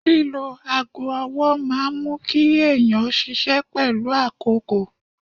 Lílo aago ọwọ́ máa mú kí èèyàn ṣiṣẹ́ pẹ̀lú àkókò